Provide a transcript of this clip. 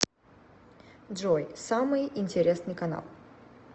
джой самый интересный канал